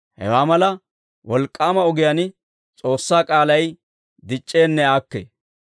Hewaa mala wolk'k'aama ogiyaan S'oossaa k'aalay dic'c'eenne aakkee.